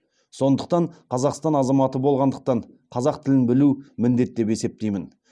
сондықтан қазақстан азаматы болғандықтан қазақ тілін білу міндет деп есептеймін